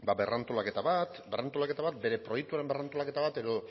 berrantolaketa bat berrantolaketa bat bere proiektuaren berrantolaketa bat edo